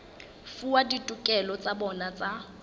fuwa ditokelo tsa bona tsa